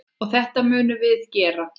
Og þetta munum við gera.